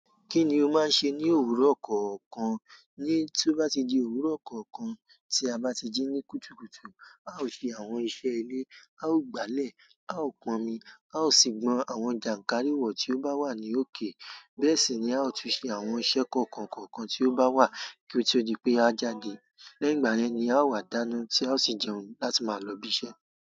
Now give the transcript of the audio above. Kí ni o máa ń ṣe ní òwúrọ̀ kọ̀ọ̀kan? Ní tí ó bá ti di òwúrọ̀ kọ̀ọ̀kan tí a bá ti jí ní kùtùkùtù, a ó ṣe àwọn iṣẹ́ ilé, a ó gbálẹ̀, a ó pọn omi, a ó sì gbọn àwọn jànkárìwọ̀ tí ó bá wà ní òkè. Bẹ́ẹ̀ sì ni a ó tún ṣe àwọn iṣẹ́ kọ̀ọ̀kan kọ̀ọ̀kan tí ó bá wà kí ó tó di pé a jáde. Lẹ́yìn ìgbà yẹn ni a ó wà dáná tí a ó sì jẹun láti máa lọ ibi iṣẹ́.